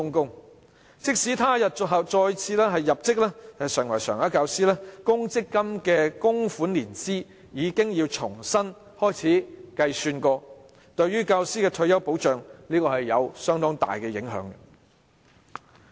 有關教師即使他日再次入職成為常額教師，其公積金供款年資要重新計算，這對教師的退休保障有相當大的影響。